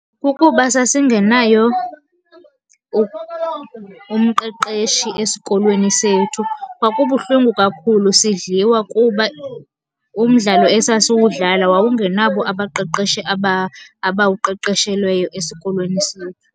Kukuba sasingenayo umqeqeshi esikolweni sethu. Kwakubuhlungu kakhulu sidliwa kuba umdlalo esasiwudlala wawungenabo abaqeqeshi abawuqeqeshelweyo esikolweni sethu.